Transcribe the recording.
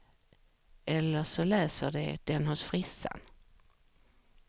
Eller så läser de den hos frissan.